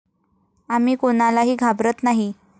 आम्ही कोणालाही घाबरत नाही!